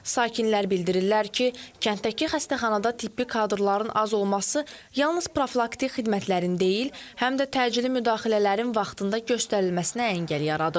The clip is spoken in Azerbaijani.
Sakinlər bildirirlər ki, kənddəki xəstəxanada tibbi kadrların az olması yalnız profilaktik xidmətlərin deyil, həm də təcili müdaxilələrin vaxtında göstərilməsinə əngəl yaradır.